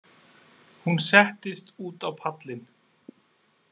Hún settist út á pallinn.